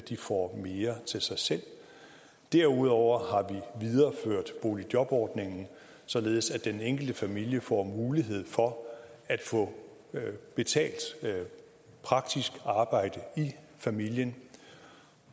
får mere til sig selv derudover har vi videreført boligjobordningen således at den enkelte familie får mulighed for at få betalt praktisk arbejde i familien